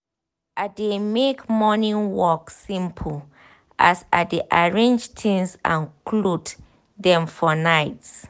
i dey make morning work simple as i dey arrange tinz and clothe um dem for night